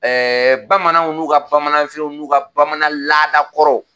Ɛɛ bamananw n'u ka bamananfiniw n'u ka bamanan laada kɔrɔw